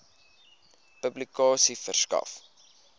publikasie verskaf